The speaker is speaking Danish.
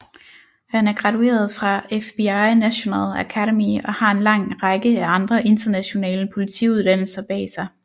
Han er gradueret fra FBI National Academy og har en lang række af andre internationale politiuddannelser bag sig